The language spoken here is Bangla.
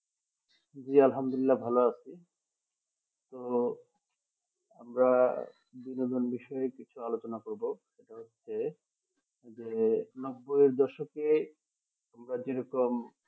জি আলহামদুল্লিলা ভালো আছি তো আমরা বিনোদন বিষয়ে কিছু আলোচনা করবো সেটা হচ্ছে যে নব্বই দশকে আমরা যে রকম